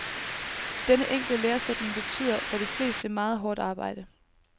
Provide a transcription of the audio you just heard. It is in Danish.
Denne enkle læresætning betyder, for de fleste, meget hårdt arbejde.